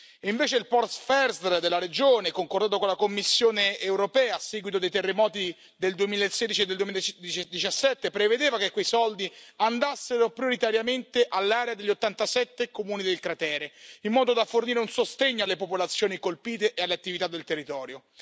E invece il POR FESR della regione, concordato con la Commissione europea a seguito dei terremoti del 2016 e del 2017, prevedeva che quei soldi andassero prioritariamente all'area degli 87 comuni del cratere, in modo da fornire un sostegno alle popolazioni colpite e alle attività del territorio.